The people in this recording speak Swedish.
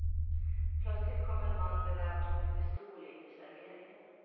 Plötsligt kom en man beväpnad med pistol in i serveringen.